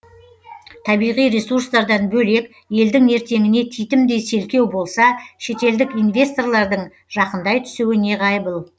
табиғи ресурстардан бөлек елдің ертеңіне титімдей селкеу болса шетелдік инвесторлардың жақындай түсуі неғайбыл